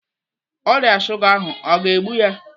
Ọrịa shuga ahụ o ga-egbu ya?